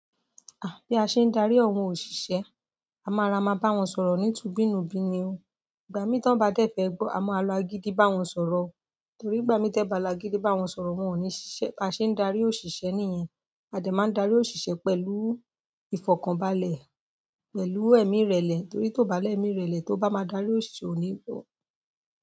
Ah! Bí a ṣe ń darí àwọn òṣìṣẹ́, a má ra má bá wọn sọ̀rọ̀ ni tubi nu bi ni o. Ìgbà mi tán bá dé fẹ́ gbọ, a má lò agídí bá wọn sọ̀rọ̀ o torí ìgbà mi te bá lò agídí bá wọn sọ̀rọ̀ wọ́n ò ní ṣiṣẹ́. Bí a ṣe ń darí òṣìṣẹ́ nìyẹn, a dẹ̀ má darí òṣìṣẹ́ pẹ̀lú ifokanbalẹ, pẹ̀lú emiirele torí tó bá lè miirele, tí o bá má darí òṣìṣẹ́ o ni bo.